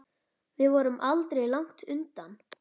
Þau voru aldrei langt undan.